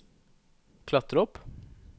klatre opp